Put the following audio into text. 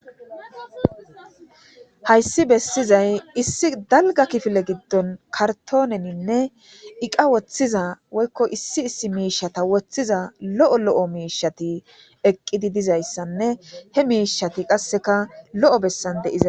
Haysi besizay issi dalga kifile gidon kartoneninne eqa wothiza woyko issi issi mishata wothiza lo'o lo'o mishat eqid dizaysanne he mishat qaseka lo'o besani de'iza..